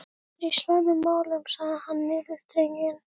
Ég er í slæmum málum sagði hann niðurdreginn.